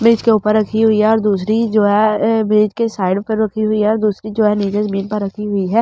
Bridge के ऊपर रखी हुई है और दूसरी जो है ब्रिज के साइड में रुकी हुई है और दूसरी जो है नीचे जमीन पर रखी हुई है।